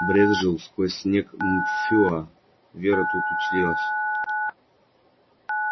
брезжил сквозь снег мфюа вера тут училась